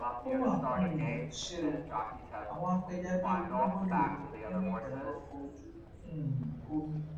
ó mà um ṣe o àwọn apẹja bíi ogun bọdọ lọ nínú ìjàmbá ọkọ ojú um omi